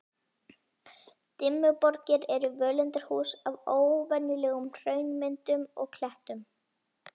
Dimmuborgir eru völundarhús af óvenjulegum hraunmyndunum og klettum.